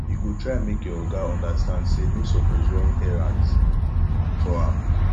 you go try make your oga understand sey no suppose run errands for am